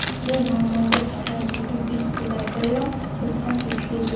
Bu muammoga safarimizning ilk kunlaridayoq biz ham duch keldik.